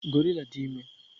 Gorilla dị ime.